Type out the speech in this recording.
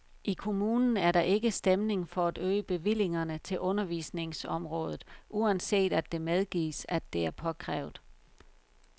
I kommunen er der ikke stemning for at øge bevillingerne til undervisningsområdet, uanset at det medgives, at det er påkrævet.